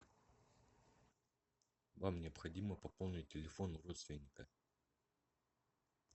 вам необходимо пополнить телефон родственника